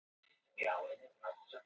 Allt var henni sjálfsagt.